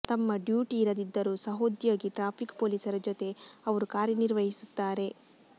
ತಮ್ಮ ಡ್ಯೂಟಿ ಇರದಿದ್ದರೂ ಸಹೋದ್ಯೋಗಿ ಟ್ರಾಫಿಕ್ ಪೊಲೀಸರ ಜೊತೆ ಅವರು ಕಾರ್ಯ ನಿರ್ವಹಿಸುತ್ತಾರೆ